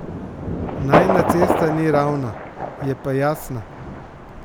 Najina cesta ni ravna, je pa jasna.